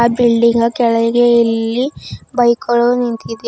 ಆ ಬಿಲ್ಡಿಂಗ್ ನ ಕೆಳಗೆ ಇಲ್ಲಿ ಬೈಕ್ ಗಳು ನಿಂತಿದೆ.